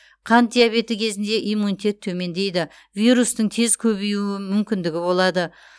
қант диабеті кезінде иммунитет төмендейді вирустың тез көбеюі мүмкіндігі болады